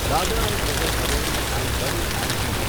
Dadra and Nagar Haveli and Daman and Diu